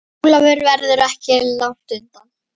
Ólafur verður ekki langt undan.